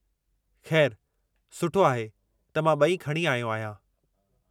खै़रु सुठो आहे त मां ॿई खणी आहियो आहियां।